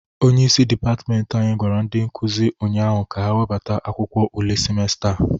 Onyeisi dịpatment anyị gwara ndị nkụzị ụnyaahụ ka ha webata akwụkwọ ule simesta a.